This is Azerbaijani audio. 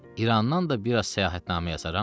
İrandan da biraz səyahətnamə yazaram.